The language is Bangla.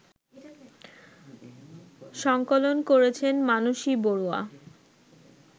সঙ্কলন করেছেন মানসী বড়ুয়া